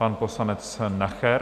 Pan poslanec Nacher?